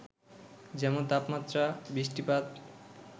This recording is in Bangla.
যেমন, তাপমাত্রা, বৃষ্টিপাত,